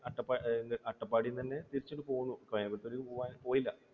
അട്ടപ്പാടിയിൽ നിന്നുതന്നെ തിരിച്ച് ഇങ്ങ് പോന്നു കോയമ്പത്തൂർ പോകാൻ, പോയില്ല